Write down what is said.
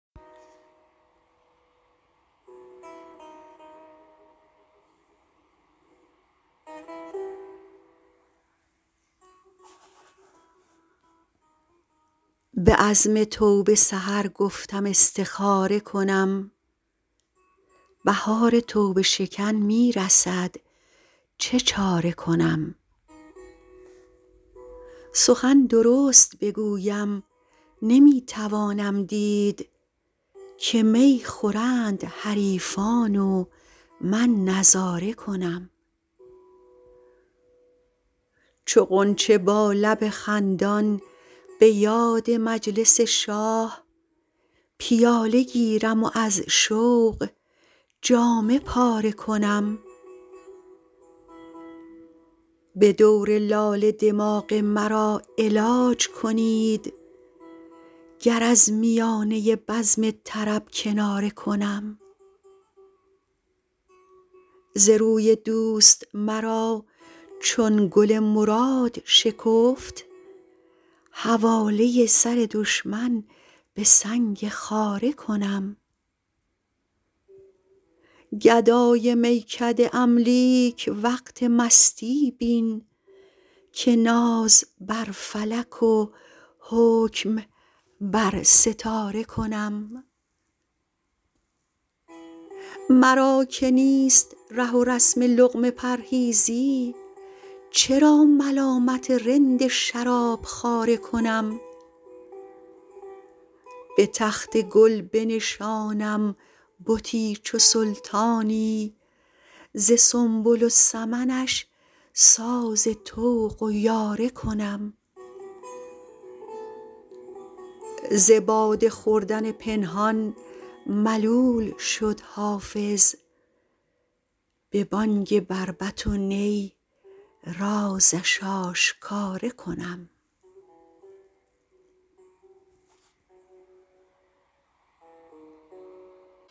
به عزم توبه سحر گفتم استخاره کنم بهار توبه شکن می رسد چه چاره کنم سخن درست بگویم نمی توانم دید که می خورند حریفان و من نظاره کنم چو غنچه با لب خندان به یاد مجلس شاه پیاله گیرم و از شوق جامه پاره کنم به دور لاله دماغ مرا علاج کنید گر از میانه بزم طرب کناره کنم ز روی دوست مرا چون گل مراد شکفت حواله سر دشمن به سنگ خاره کنم گدای میکده ام لیک وقت مستی بین که ناز بر فلک و حکم بر ستاره کنم مرا که نیست ره و رسم لقمه پرهیزی چرا ملامت رند شراب خواره کنم به تخت گل بنشانم بتی چو سلطانی ز سنبل و سمنش ساز طوق و یاره کنم ز باده خوردن پنهان ملول شد حافظ به بانگ بربط و نی رازش آشکاره کنم